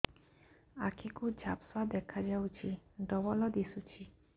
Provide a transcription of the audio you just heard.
ଆଖି କୁ ଝାପ୍ସା ଦେଖାଯାଉଛି ଡବଳ ଦିଶୁଚି